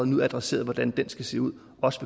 nu adresseret hvordan det skal se ud også